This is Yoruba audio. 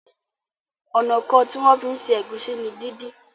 Ọnà kán tí wón fí ṣe Egusi ní dín dín.